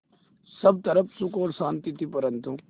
सब तरफ़ सुख और शांति थी परन्तु